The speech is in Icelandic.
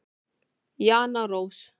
Jana Rós.